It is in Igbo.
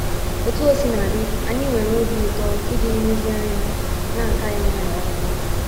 Otú o sina dị, anyị nwere obi ụtọ iji nlezianya na - ata ya nwayọọ nwayọọ.